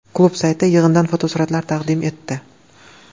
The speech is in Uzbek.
Klub sayti yig‘indan fotosuratlar taqdim etdi .